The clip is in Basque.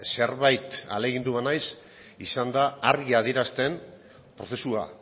zerbait ahalegindu banaiz izan da argi adierazten prozesua